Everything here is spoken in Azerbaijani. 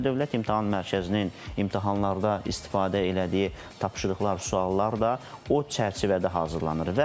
Və Dövlət İmtahan Mərkəzinin imtahanlarda istifadə elədiyi tapşırıqlar, suallar da o çərçivədə hazırlanır.